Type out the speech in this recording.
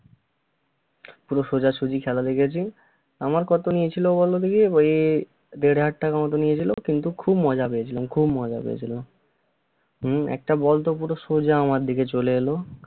পুরো সোজাসজি খেলা দেখেছি। আমার কত নিয়েছিল বলো দেখি? ওই দেড় হাজার টাকার মতো নিয়েছিল কিন্তু খুব মজা পেয়েছিলাম খুব মজা পেয়েছিলাম। হম একটা বল তো পুরা সোজা আমার দিকে চলে এলো-